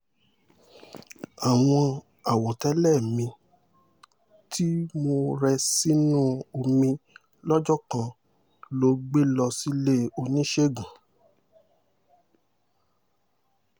àwọn àwọ̀tẹ́lẹ̀ mi tí mo rẹ sínú omi lọ́jọ́ kan ló gbé lọ sílé oníṣègùn